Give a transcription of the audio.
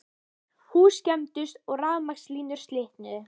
Hús skemmdust og rafmagnslínur slitnuðu